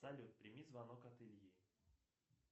салют прими звонок от ильи